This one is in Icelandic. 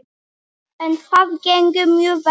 En það gengur mjög vel.